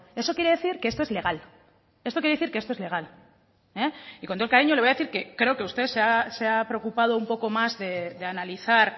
esto quiere decir que esto es legal esto quiere decir que esto es legal y con todo el cariño le voy decir que creo que usted se ha preocupado un poco más de analizar